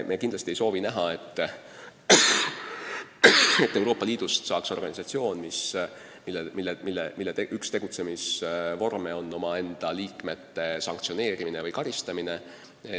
Me kindlasti ei soovi näha, et Euroopa Liidust saaks organisatsioon, mille üks tegutsemisvorm on omaenda liikmete sanktsioneerimine või karistamine.